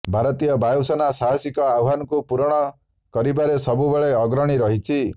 ଭାରତୀୟ ବାୟୁସେନା ସାହାସିକ ଆହ୍ୱାନକୁ ପୂରଣ କରିବାରେ ସବୁବେଳେ ଅଗ୍ରଣୀ ରହିଛି